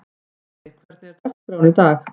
Friðey, hvernig er dagskráin í dag?